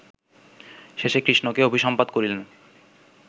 শেষে কৃষ্ণকেই অভিসম্পাত করিলেন